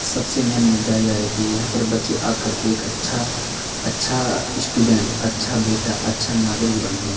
सबसे मेन मुद्दा यह है की यहाँ पर बच्चे आकर के एक अच्छा अच्छा स्टूडेंट अच्छा बेटा अच्छा नागरिक बनते है।